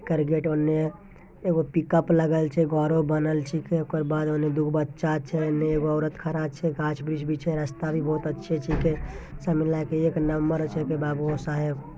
ओकर गेट ओने | एक पिककप लागल छी घरो बनल ओकर बाद ओने दुगो बच्चा छी एने एगो औरत खड़ा छी गाझ वृक्ष भी छे रास्ता भी अच्छा छे सब मिला के एक नंबर छे बाबू साहब --